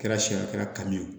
Kɛra siɲɛ a kɛra kanu ye